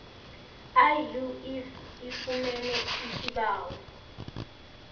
iuif ifumene isibawo